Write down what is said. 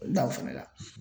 O da o fana la.